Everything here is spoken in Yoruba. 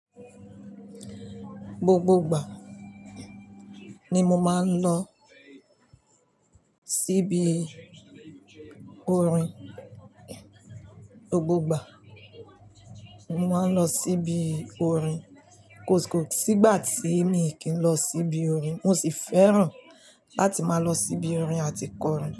Gbogbo ìgbà ni mo máa ń lọ síbi orin. Gbogbo ìgbà ni máa ń lọ síbi orin koskó. Sígbà tí mi kì í lọ síbi orin, mo sì fẹ́ràn láti máa lọ síbi orin àti kọ orin.